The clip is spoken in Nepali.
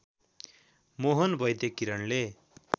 मोहन वैद्य किरणले